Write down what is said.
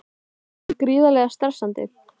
Er það ekki gríðarlega stressandi?